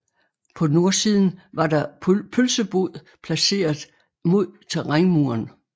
På nordsiden var der pølsebod placeret mod terrænmuren